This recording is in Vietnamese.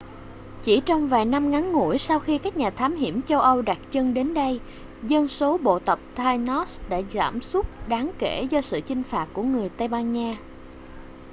chỉ trong vài năm ngắn ngủi sau khi các nhà thám hiểm châu âu đặt chân đến đây dân số bộ tộc tainos đã giảm sút đáng kể do sự chinh phạt của người tây ban nha